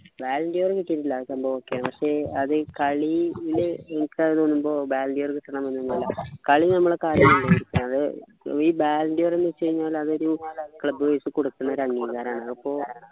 ballon d'or കിട്ടീട്ടില്ല സംഭവം okay പക്ഷെ അത് ഈ കളിയില് ഇ കാണുമ്പോ ballon d'or കിട്ടണം നൊന്നുമില്ല കളി നമ്മളെ കാണുമ്പോ ന്നു വെച്ചാല് ഈ ballon d'or ന്നു വെച്ച് കഴിഞ്ഞാല് അതൊരു club wise കൊടുക്കുന്നൊരു അംഗീകാരമാണ് അപ്പോ